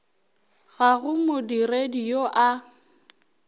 ga go modiredi yoo a